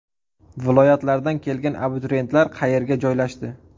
Viloyatlardan kelgan abituriyentlar qayerga joylashdi?